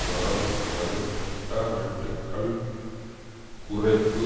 வரவு செலவு திட்ட வெட்டுக்கள் குறைப்பு